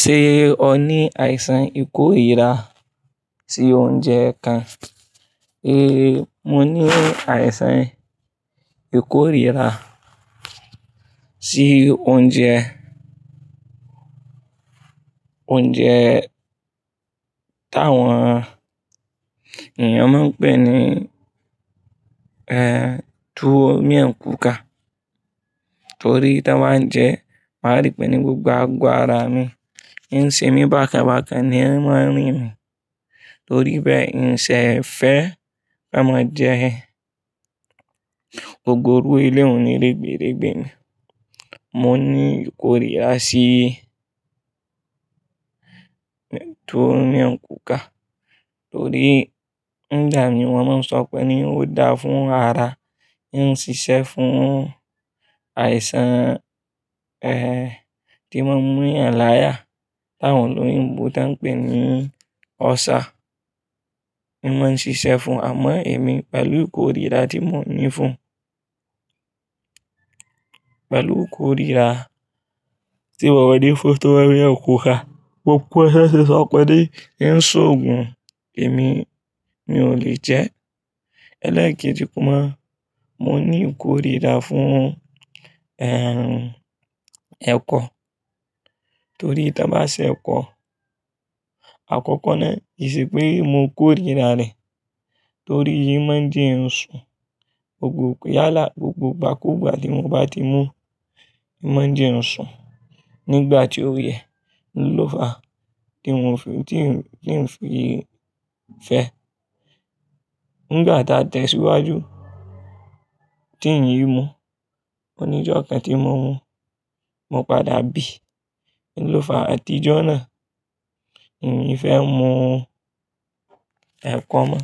Ṣé o ní àìsàn ìkórira sí oúnjẹ kan? É, mo ní àìsàn ìkórira sí oúnjẹ, oúnjẹ táwọn, èèyàn máa ń pè ní, eh, tuwo mẹ́kúnùka. Torí tí wọ́n ń jẹ, màá rí pé ni gbogbo agọ́ ára mi, ìyẹn ń ṣe mí bákan bákan, ìyẹn máa rìn mí. Torí bẹ́ẹ̀, n ẹn ń ṣe ń fẹ́ kí a máa jẹ ẹ. Ògùn iru ilé òní regberegbe ni. Mo ní ìkórira sí tuwo mẹ́kúnùka torí ń dà mí, wọ́n máa ń sọ pé ni ó dáa fún ara, ń ṣiṣẹ́ fún àìsàn, eh, tí wọ́n ń mú ìyàn láyà, táwọn ló ń bo ti wọ́n ń pè ní ọ́sà. Ìwọ̀n ṣíṣe fún àmọ́ èmi pẹ̀lú ìkórira tí mo ní fún, pẹ̀lú ìkórira sí wọ̀wẹ̀dẹ́ fún tuwo mẹ́kúnùka, gbogbo ẹṣẹ ṣiṣọ́kẹ́ dẹ́ ń ṣògùn èmi mi ò lè jẹ. Elẹ̀ẹ́kejì kun mọ̀, mo ní ìkórira fún, eh, ẹ̀kọ, torí tan bá ṣẹ ẹ̀kọ, àkọ́kọ́ náà, ìṣìpẹ́ mo kórira rẹ̀ torí oun máa ń jẹ ǹsùn. Gbogbo yálà, gbogbo gbàkúgbà tí mo bá ti mú, máa ń jẹ ǹsùn. Nígbà tí ó yẹ, lófa tí n ò fi, tí ń fi fẹ́. Nígbà tá a tẹ̀síwájú, tí ìyí mú, oníjó kan tí mọ̀ wọ́n, mọ padà bí n lófa àtijọ́ náà. Èmi fẹ́ mú ẹ̀kọ́ mọ́.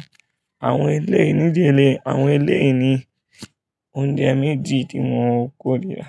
Àwọn elé ndí, ilé, àwọn ilé ìní oúnjẹ méjì tí mo rí kórira.